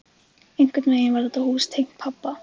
Einhvern veginn var þetta hús tengt pabba.